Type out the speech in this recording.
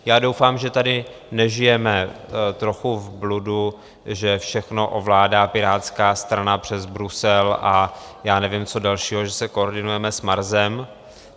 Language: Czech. Já doufám, že tady nežijeme trochu v bludu, že všechno ovládá Pirátská strana přes Brusel a já nevím, co dalšího, že se koordinujeme s Marsem.